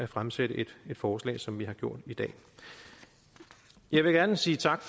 fremsætte et forslag som vi har gjort her jeg vil gerne sige tak